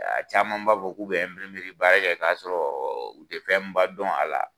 Caman b'a fɔ k'u be baara kɛ k'a sɔrɔ ,u te fɛn ba dɔn a la.